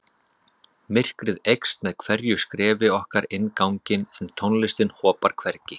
Myrkrið eykst með hverju skrefi okkar inn ganginn en tónlistin hopar hvergi.